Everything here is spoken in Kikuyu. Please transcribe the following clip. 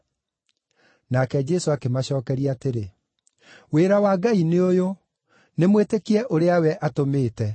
Nake Jesũ akĩmacookeria atĩrĩ, “Wĩra wa Ngai nĩ ũyũ: nĩ mwĩtĩkie ũrĩa we atũmĩte.”